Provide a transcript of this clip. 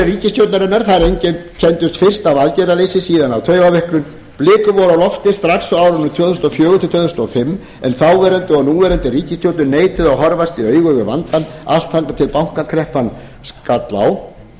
ríkisstjórnarinnar einkenndust fyrst af aðgerðaleysi síðan af taugaveiklun blikur voru á lofti strax á árinu tvö þúsund og fjögur til tvö þúsund og fimm en þáverandi og núverandi ríkisstjórnir neituðu að horfast í augu við vandann allt þangað til bankakreppan skall á